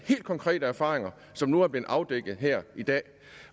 helt konkrete erfaringer som nu er blevet afdækket her i dag